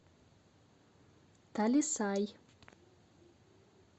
талисай